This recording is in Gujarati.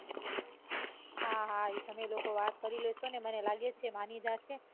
હા હા એ તમે લોકો વાત કરી લેશો મને લાગેછે કે મણિ જાશે.